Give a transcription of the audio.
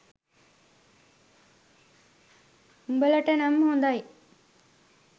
උබලාට නම් හොදයි